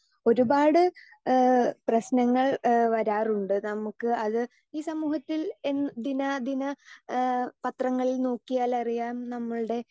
speaker 2 ഒരുപാട് ഏഹ് പ്രശ്നങ്ങൾ ഏഹ് വരാറുണ്ട് നമുക്ക് അത് ഈ സമൂഹത്തിൽ എ ദിന ദിന ഏഹ് പത്രങ്ങളിൽ നോക്കിയാലറിയാം നമ്മൾടെ